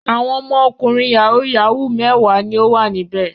Àwọn ọmọkùnrin yahoo yahoo mẹ́wàá ni ó wà níbẹ̀.